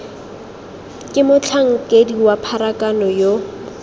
ke motlhankedi wa pharakano yo